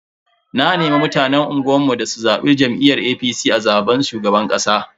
Na nemi mutanen unguwar mu da su zabi jam'iyyar APC a zaben shugaban kasa.